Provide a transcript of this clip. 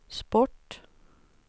sport